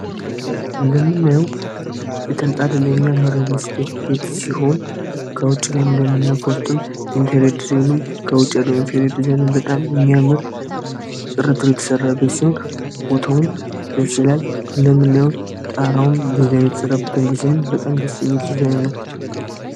እንደምናው የተንጣል የሚያምር ሪሊስቴት ቤት ሲሆን ከውጭ ላይ እንደምና ውስጡም ኢንቴኔድ ዲዛይኑም ከውጪ የደኢንፌሪ ዲዛይን በጣም የሚያመር ጥርቱር የተሠራቤት ሲሆን ፖቶውም ደስ ይላል እንደምናዩውን ጣራውም ዲዛይን የተሠራበት ዲዛይን በጣም ደስሚል ዲዛይን ነው።